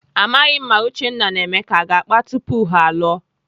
Amaghị m ma Uchenna na Emeka aga akpa tupu ha alụọ.